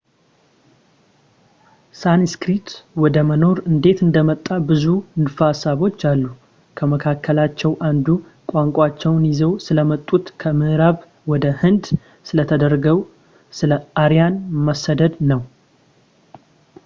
ሳንስክሪት ወደ መኖር እንዴት እንደመጣ ብዙ ንድፈ ሀሳቦች አሉ ከመካከላቸው አንዱ ቋንቋቸውን ይዘው ስለመጡት ከምዕራብ ወደ ሕንድ ስለተደረገው ስለ አርያን መሰደድ ነው